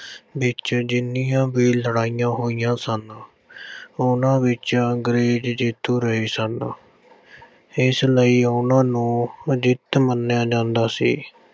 ਵਿੱਚ ਜਿੰਨੀਆਂ ਵੀ ਲੜਾਈਆਂ ਹੋਈਆਂ ਸਨ। ਉਨ੍ਹਾਂ ਵਿੱਚ ਅੰਗਰੇਜ਼ ਜਿੱਤ ਰਹੇ ਸਨ। ਇਸ ਲਈ ਉਨ੍ਹਾਂ ਨੂੰ ਅਜਿੱਤ ਮੰਨਿਆ ਜਾਂਦਾ ਸੀ।